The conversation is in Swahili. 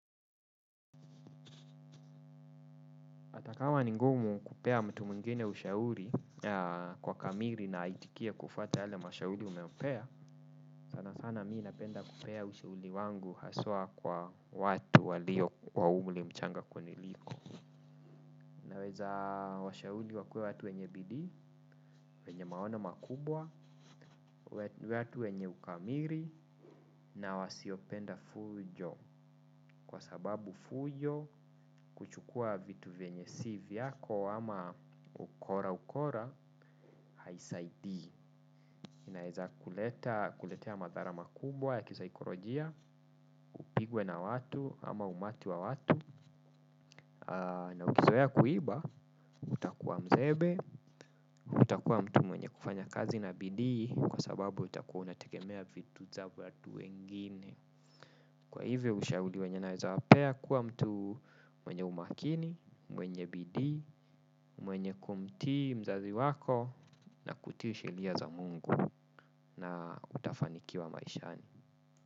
Hata kama ni ngumu kupea mtu mwingine ushauri kwa kamili na aitikie kufuata yale mashauri umempea, sana sana mi napenda kupea ushauri wangu haswa kwa watu walio wa umri mchanga kuniliko. Naweza washauri wakuwe watu wenye bidii, wenye maona makubwa, watu wenye ukamili na wasiopenda fujo. Kwa sababu fujo kuchukua vitu vyenye si vyako ama ukora ukora haisaidii inaweza kuletea madhara makubwa ya kisaikolojia, upigwe na watu ama umati wa watu. Na ukizoea kuiba, utakuwa mzembe, utakuwa mtu mwenye kufanya kazi na bidii, kwa sababu utakuwa unategemea vitu za watu wengine. Kwa hivyo, ushauri wenye naweza wapea kuwa mtu mwenye umakini, mwenye bidii, mwenye kumtii, mzazi wako, na kutii sheria za mungu na utafanikiwa maishani.